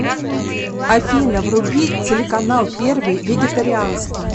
афина вруби телеканал первый вегетарианский